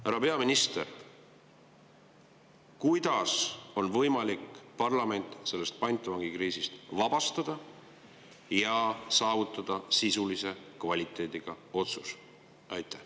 Härra peaminister, kuidas on võimalik parlament sellest pantvangikriisist vabastada ja saavutada sisulise kvaliteediga otsus?